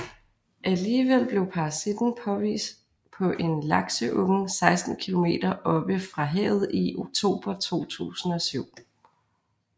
Alligevel blev parasitten påvist på en lakseunge 16 kilometer oppe fra havet i oktober 2007